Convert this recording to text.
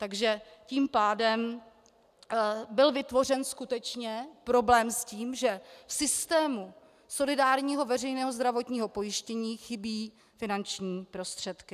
Takže tím pádem byl vytvořen skutečně problém s tím, že v systému solidárního veřejného zdravotního pojištění chybějí finanční prostředky.